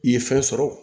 I ye fɛn sɔrɔ